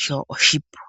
sho oshipu.